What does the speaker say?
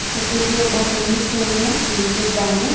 ಮತ್ತೆ ಇಲ್ಲಿ ಒಬ್ಬ ಮನುಷ್ಯನು ನಿಂತಿದ್ದಾನೆ.